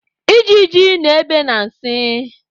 Ijiji na-ebe na nsị